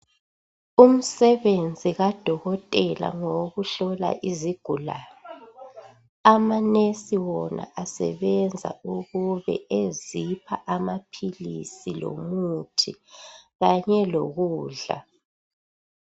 Umsebenzi kadokotela ngowo kuhlola izigulane amanesi wona asebenza ukube ezipha amaphilisi lomuthi kanye lokudla.